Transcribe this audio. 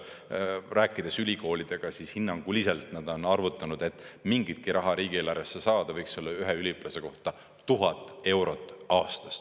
Rääkides ülikoolidega, hinnanguliselt nad on arvutanud, et mingitki raha riigieelarvesse saada, võiks see olla ühe üliõpilase kohta 1000 eurot aastas.